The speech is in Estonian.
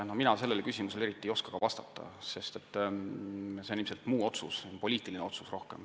Mina sellele küsimusele eriti vastata ei oska, sest see on ilmselt muu otsus, rohkem poliitiline otsus.